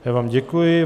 Já vám děkuji.